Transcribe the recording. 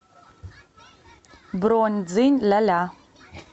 бронь дзинь ля ля